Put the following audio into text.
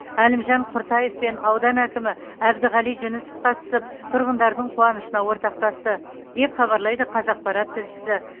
әлімжан құртаев пен аудан әкімі әбдіғали жүнісов қатысып тұрғындардың қуанышына ортақтасты деп хабарлайды қазақпарат тілшісі